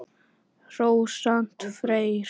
Rósant Freyr.